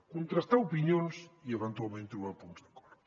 contrastar opinions i eventualment trobar punts d’acord